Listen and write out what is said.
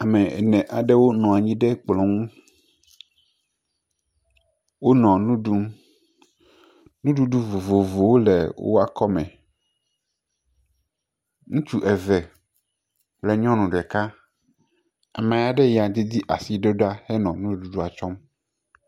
Ame ene aɖewo nɔ anyi ɖe kplɔ ŋu, wonɔ enu ɖum, nuɖuɖu vovovowo le woƒe akɔme, ŋutsu eve kple nyɔnu ɖeka, ame ya didi asi aɖe do ɖa henɔ nuɖuɖua tsɔm.